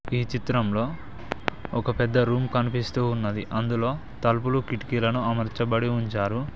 ఈ చిత్రంలో ఒక పెద్ద రూమ్ కనిపిస్తూ ఉన్నది అందులో తలుపులు కిటికీలను అమర్చబడి ఉంచారు.